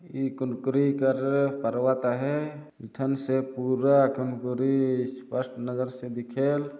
इ कुंकुरीकर पर्वत है ईठन से पूरा गंगोरी स्पष्ट नज़र से दिखेल--